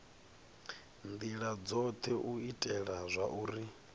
ndila dzothe u itela zwauri